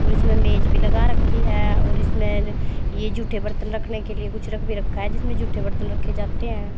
और इसमें मेज भी लगा रखी है और इसमें ये जूठे बर्तन रखने के लिए कुछ रख भी रखा है जिसमें जूठे बर्तन रखे जाते हैं।